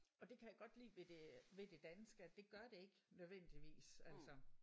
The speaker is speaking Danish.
Og det kan jeg godt lide ved det ved det danske at det gør det ikke nødvendigvis altså